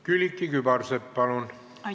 Külliki Kübarsepp, palun!